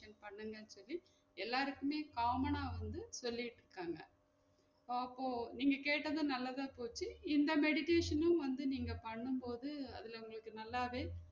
Suggestion பண்ணுங்க சொல்லி எல்லாருக்குமே common ஆ வந்து சொல்லிட்டிருக்காங்க அப்போ நீங்க கேட்டது நல்லதா போச்சு இந்த meditation னும் வந்து நீங்க பண்ணும் போது அதுல உங்களுக்கு நல்லாவே